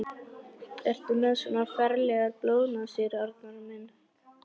Ertu með svona ferlegar blóðnasir, Arnar minn?